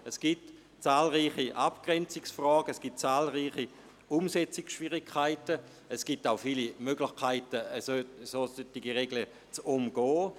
Es gibt zahlreiche Abgrenzungsfragen und Umsetzungsschwierigkeiten, und es gibt auch viele Möglichkeiten, solche Regeln zu umgehen.